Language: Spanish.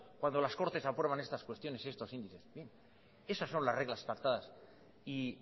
cuando las cortes aprueban estas cuestiones y estos índices esas son las reglas pactadas y